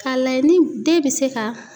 K'a layɛ ni den bɛ se ka